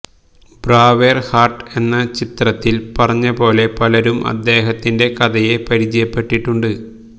ബ്രാവേർ heart എന്ന ചിത്രത്തിൽ പറഞ്ഞപോലെ പലരും അദ്ദേഹത്തിന്റെ കഥയെ പരിചയപ്പെട്ടിട്ടുണ്ട്